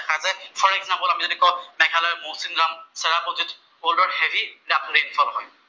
For example আমি যদি কঁও মেঘালয়ৰ মৌছিনৰাম, চেৰাপুঞ্জীত ৱৰ্ল্ডৰ হেভী ৰেইন ফল হয়।